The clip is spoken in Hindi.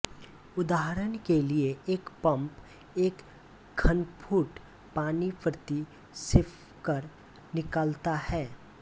उदाहरण के लिये एक पपं एक घनफुट पानी प्रति सेंकड निकालता है